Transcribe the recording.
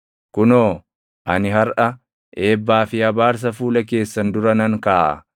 Kunoo, ani harʼa eebbaa fi abaarsa fuula keessan dura nan kaaʼa;